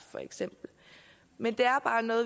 men